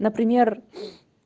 например